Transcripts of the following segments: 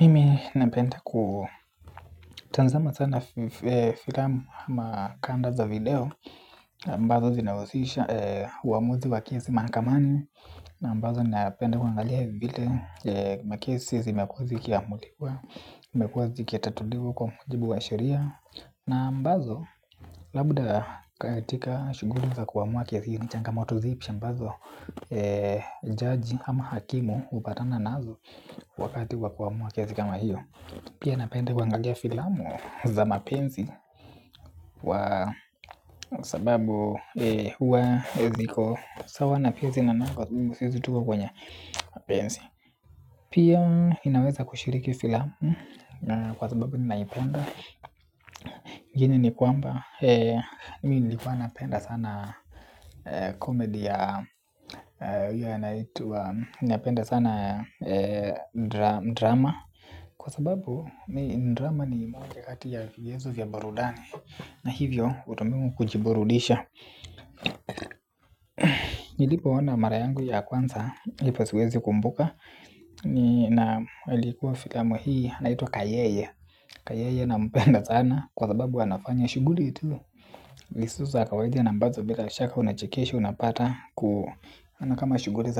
Mimi napenda kutazama sana filamu kama kanda za video ambazo zinahusisha uamuzi wa kiesi mahakamani. Na ambazo ninapenda kuangalia vile makesi zimekuwa zikiamuliwa imekuwa zikitatuliwa kwa mujibu wa sharia. Na ambazo labda katika shughuli za kuamuwa kiasi changamoto zipi ambazo jaji ama hakimu hupatana nazo wakati wa kuamua kiesi kama hiyo. Pia napenda kuangalia filamu za mapenzi. Kwa sababu huwa ziko sawa na pia zinanako sizi tuwa kwenye mapenzi. Pia inaweza kushiriki filamu. Kwa sababu ninaipenda. Gini ni kwamba Mi nilikuwa napenda sana komedi ya Mi nilikuwa napenda sana drama. Ndrama kwa sababu drama ni moja kati ya michezo vya burudani. Na hivyo ata mimi kujiburudisha. Nilipo ona mara yangu ya kwanza lipo siwezi kumbuka. Na ilikuwa filamu hii naitwa kayeye Kayeye na mpenda sana kwa sababu anafanya shughuli tu zisizo za kawaidi na ambazo bila shaka unachekeshwa. Unapata ku hana kama shughuli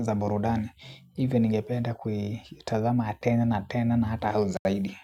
za burudani. Hivyo ningependa kui tazama tena na tena na hata hao zaidi.